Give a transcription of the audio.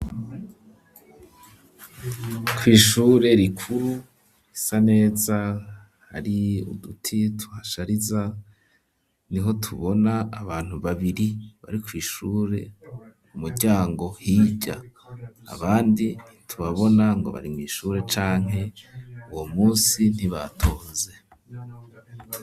Kw'ishure rikuru risa neza hari uduti tuhashariza niho tubona abantu babiri bari kw'ishure umuryango hirya abandi tubabona ngo bari mw'ishure canke uwo musi ntibatonze.